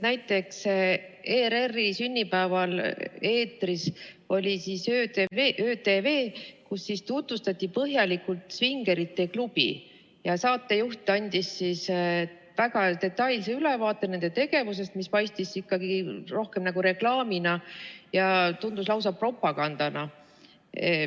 Näiteks ERR-i sünnipäeval oli eetris "Öö TV", milles tutvustati põhjalikult Svingerite klubi ja saatejuht andis väga detailse ülevaate nende tegevusest, mis paistis ikkagi rohkem nagu reklaamina ja tundus lausa propagandana.